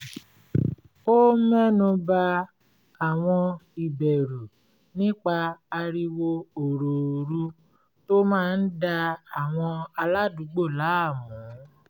ó mẹ́nu ba àwọn ìbẹ̀rù nípa ariwo òròòru tó máa ń da àwọn aládùúgbò láàmú